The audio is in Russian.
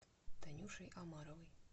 танюшей омаровой